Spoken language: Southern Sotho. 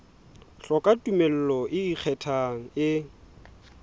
hloka tumello e ikgethang e